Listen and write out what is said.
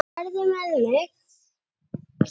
Farðu með mig.